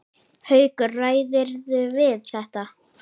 Haukur: Ræðirðu við þetta?